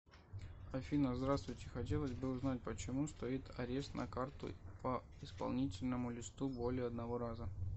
афина здравствуйте хотелось бы узнать почему стоит арест на карту по исполнительному листу более одного раза